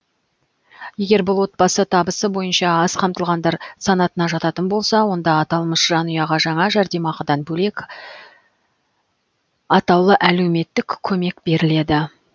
егер бұл отбасы табысы бойынша аз қамтылғандар санатына жататын болса онда аталмыш жанұяға жаңа жәрдемақыдан бөлек атаулы әлеуметтік көмек беріледі